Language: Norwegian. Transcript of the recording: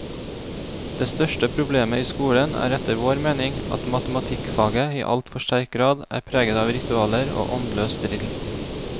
Det største problemet i skolen er etter vår mening at matematikkfaget i altfor sterk grad er preget av ritualer og åndløs drill.